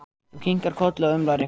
Þú kinkar kolli og umlar eitthvað.